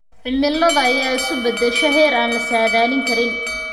Cimilada ayaa isu beddesha heer aan la saadaalin karin.